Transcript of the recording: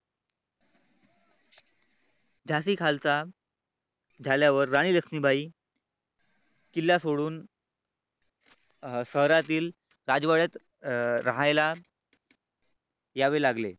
झाशी खालसा झाल्यावर राणी लक्ष्मीबाई किल्ला सोडून अं शहरातील अं राजवाड्यात राहायला यावे लागले.